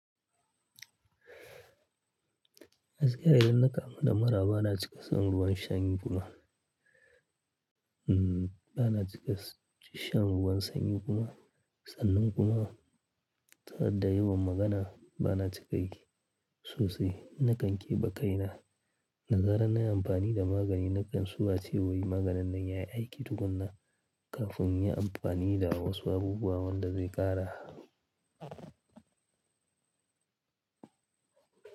Gaskiya idan na kamu da mura bana cika shan ruwan sanyi kuma, bana cika shan ruwan sanyi kuma, sannan kuma, ta yadda yawan magana bana cika yi sosai. Nakan keɓe kaina. Da zaran na yi amfani da magani, nakan so a ce min maganin nan yayi aiki tukuna. Kafin in yi amfani da wasu abubuwa wanda zai ƙara.